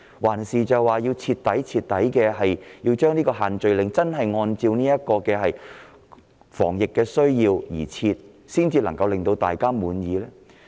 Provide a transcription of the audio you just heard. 還是要徹底讓限聚令按照防疫需要而設，才能令大家感到滿意？